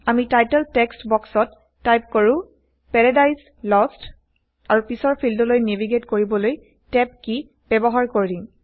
আমি title text বক্সত type কৰো পাৰাদিছে লষ্ট আৰু পিছৰ ফিল্ডলৈ নেভীগেইট কৰিবলৈ টেব কী ব্যৱহাৰ কৰিম